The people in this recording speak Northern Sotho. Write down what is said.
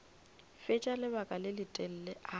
fetša lebaka le letelele a